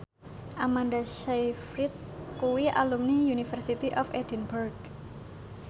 Amanda Sayfried kuwi alumni University of Edinburgh